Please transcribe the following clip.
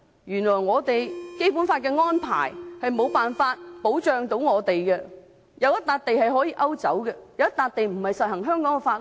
原來《基本法》的安排無法保障我們，原來有一塊地可以勾走，有一塊地並非實施香港的法律。